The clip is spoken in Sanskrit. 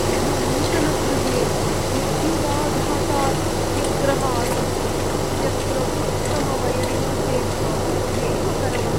मम नूतनगृहे विद्युदाघातात् व्यग्रः आसं, यत्र उत्तमवयरिङ्ग् कृते बहु व्ययम् अकरवम्।